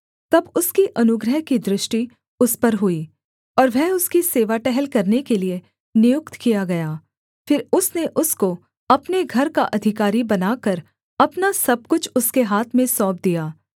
तब उसकी अनुग्रह की दृष्टि उस पर हुई और वह उसकी सेवा टहल करने के लिये नियुक्त किया गया फिर उसने उसको अपने घर का अधिकारी बनाकर अपना सब कुछ उसके हाथ में सौंप दिया